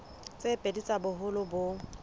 tse pedi tsa boholo bo